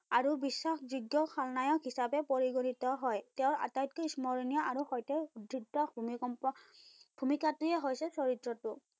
আৰু বিশ্বাসযোগ্য খলনায়ক হিচাপে পৰিগণিত হয়। তেওঁ আটাইতকৈ স্মৰণীয় আৰু সৈতে ধৃত ভুমিকম্প, ভুমিকাটোৱে হৈছে, চৰিত্ৰটো